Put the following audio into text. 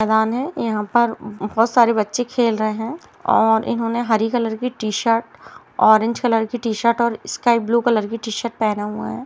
मैदान है यहाँ पर बहुत सारे बच्चे खेल रहें है और इन्होंने हरी कलर की टी-शर्ट ऑरेंज कलर की टी-शर्ट और स्काइ ब्लू कलर का टी-शर्ट पहना हुआ है।